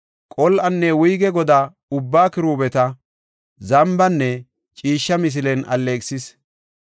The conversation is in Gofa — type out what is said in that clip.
Qol7anne wuyge godaa ubbaa kiruubeta, zambanne ciishsha misilen alleeqisis.